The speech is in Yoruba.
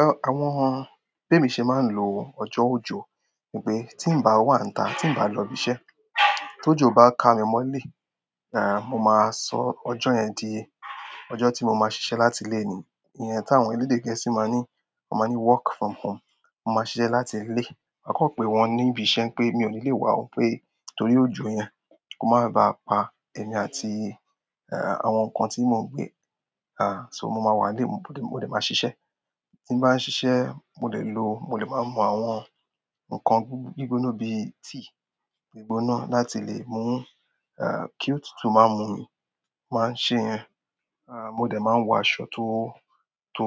Ẹ, àwọn, bé mi ṣe máa ń lo ọjọ́ ojò, nipé tí ń bá wà níta, tí ń bá lọ ibi iṣẹ́. Tó jò bá ka mi mọ́lé, à, mo máa sọ ọjọ́ yẹn di ọjọ́ tí mo máa ṣiṣẹ́ láti ilé ni. Ìyẹn táwọn orílẹ̀-èdè gẹ́ẹ́sì máa ń ní, wọ́n máa ń ní work from home. Mo máa ṣiṣẹ́ láti ilé. Máa kọ́ pe wọ́n níbi iṣẹ́ pé mi ò ní lè wá, pé torí òjò yẹn kò máa ba pa èmi àti, ẹǹ àwọn nǹkan tí mò ń gbé. A, ṣó mo máa wà nílé, mo lè, mo lè máa ṣiṣẹ́. Tí bà ń ṣiṣẹ́, mo lè lo, mo lè máa mú àwọn nǹkan gbígbóná bíi tíì gbígbóná láti lè mú, à, kí òtútù má mú mi. Máa ń ṣe ìyẹn. À, mo dẹ̀ máa wọ aṣọ tó, tó,